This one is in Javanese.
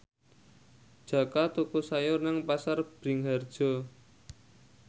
Jaka tuku sayur nang Pasar Bringharjo